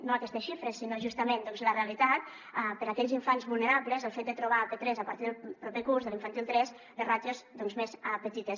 no aquestes xifres sinó justament la realitat per a aquells infants vulnerables el fet de trobar a p3 a partir del proper curs l’infantil tres les ràtios doncs més petites